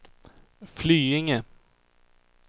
Flyinge